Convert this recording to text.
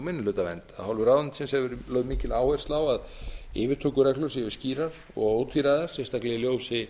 minnihlutavernd af hálfu ráðuneytisins hefur verið lögð mikil áhersla á að yfirtökureglur séu skýrar og ótvíræðar sérstaklega í ljósi